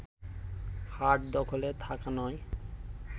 হাট দখলে থাকা নয়